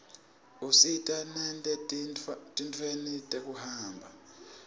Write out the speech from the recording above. usita nete tintfueni tekuhamba